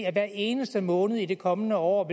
at i hver eneste måned i det kommende år